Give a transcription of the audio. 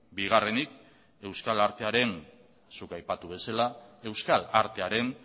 bigarrenik euskal artearen zuk aipatu bezala euskal artearen